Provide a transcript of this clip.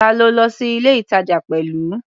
Ta lo lọ sí ilé-ìtàjà pẹ̀lú?